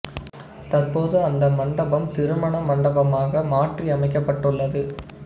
தற்போது அந்த மண்டபம் திருமண மண்டபமாக மாற்றி அமைக்கப்பட்டு உள்ளது